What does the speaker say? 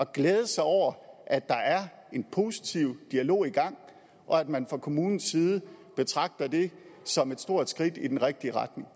glæde sig over at der er en positiv dialog i gang og at man fra kommunens side betragter det som et stort skridt i den rigtige retning